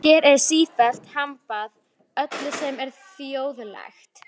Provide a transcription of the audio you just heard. Hér er sífellt hampað öllu sem er þjóðlegt.